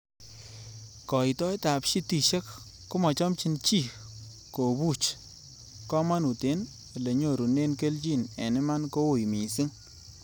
Koitoetab shitishiek komochomchin chii kobuchi komonut en elenyorunen kelchin, en iman ko ui missing